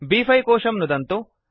ब्5 कोशं नुदन्तु